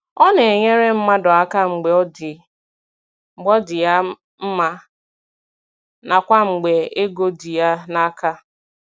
Ọ na - enyere mmadụ aka mgbe ọ dị ya mma nakwa mgbe ego dị ya n'aka.